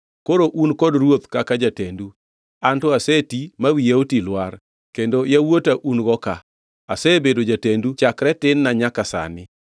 Koro un kod ruoth kaka jatendu. Anto aseti ma wiya oti lwar, kendo yawuota un-go ka. Asebedo jatendu chakre tin-na nyaka sani.